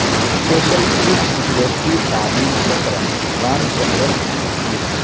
special chief secretary تعلیم Chitra Ramachandran کی appeal